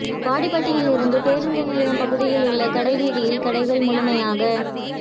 வாடிப்பட்டியில் பேருந்து நிலையம் பகுதியில் உள்ள கடை வீதியில் கடைகள் முழுமையாக